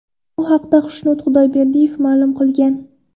Bu haqda Xushnud Xudoyberdiyev ma’lum qilgan .